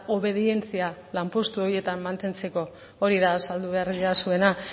obedientzia lanpostu horietan mantentzeko hori da azaldu behar didazuena